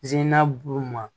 buru ma